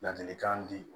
Ladilikan di